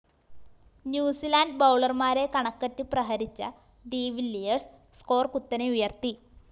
New Zealand ബൗളര്‍മാരെ കണക്കറ്റ് പ്രഹരിച്ച ഡിവില്ലിയേഴ്‌സ് സ്കോർ കുത്തനെ ഉയര്‍ത്തി